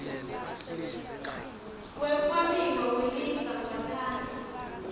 wekwabiwa kwelifa ngaphandle